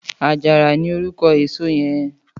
Àjárà ni órúkò ésó yèn